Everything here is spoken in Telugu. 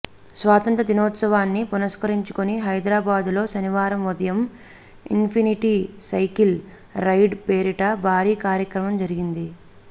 స్వాతంత్ర్య దినోత్సవాన్ని పురస్కరించుకుని హైదరాబాదులో శనివారం ఉదయం ఇన్ఫినిటీ సైకిల్ రైడ్ పేరిట భారీ కార్యక్రమం జరిగింది